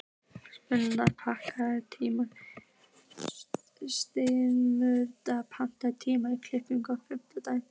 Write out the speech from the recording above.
Sigurmunda, pantaðu tíma í klippingu á fimmtudaginn.